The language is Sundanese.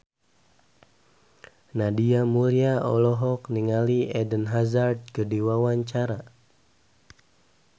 Nadia Mulya olohok ningali Eden Hazard keur diwawancara